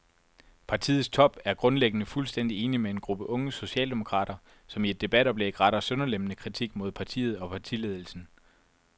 Partiets top er grundlæggende fuldstændig enig med en gruppe unge socialdemokrater, som i et debatoplæg retter sønderlemmende kritik mod partiet og partiledelsen.